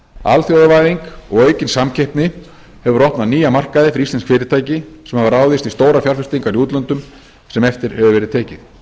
alþjóðavæðing og aukin samkeppni hefur opnað nýja markaði fyrir íslensk fyrirtæki sem hafa ráðist í stórar fjárfestingar í útlöndum sem eftir hefur verið tekið